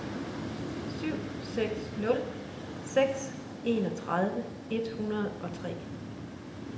syv seks nul seks enogtredive et hundrede og tre